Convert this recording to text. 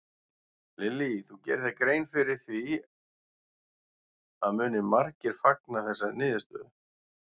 Lillý: Þú gerir þér grein fyrir því að muni margir fagna þessari niðurstöðu?